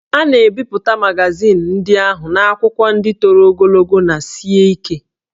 A na-ebipụta magazin ndị ahụ n'akwụkwọ ndị toro ogologo na sie ike